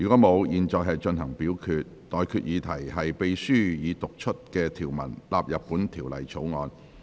我現在向各位提出的待決議題是：秘書已讀出的條文納入本條例草案。